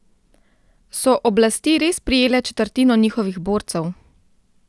So oblasti res prijele četrtino njihovih borcev?